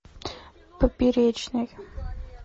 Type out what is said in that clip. поперечный